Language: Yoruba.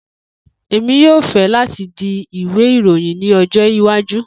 Emi yoo fẹ lati di Iwe iroyin ni ọjọ iwaju.